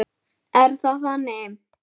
Er það þannig?